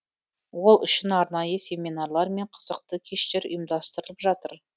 ол үшін арнайы семинарлар мен қызықты кештер ұйымдастырылып жатыр